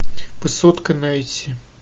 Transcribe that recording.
высотка найти